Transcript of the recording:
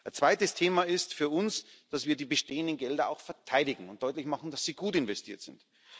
Ein zweites Thema ist für uns, dass wir die bestehenden Gelder auch verteidigen und deutlich machen, dass sie gut investiert sind.